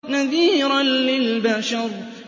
نَذِيرًا لِّلْبَشَرِ